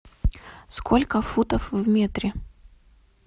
сколько футов в метре